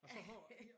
Og så har